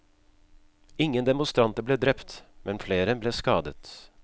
Ingen demonstranter ble drept, men flere ble skadet.